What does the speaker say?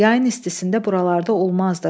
Yayın istisində buralarda olmazdı.